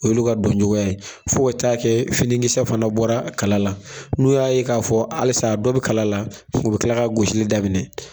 Olu ka dɔn cogoya ye fo ka taa kɛ finikisɛ fana bɔra kala la, n'u y'a ye k'a fɔ halisa dɔ bi kala la, u bi kila kila ka gosili daminɛ.